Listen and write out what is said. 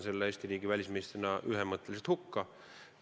Eesti riigi välisministrina mõistan ma selle ühemõtteliselt hukka.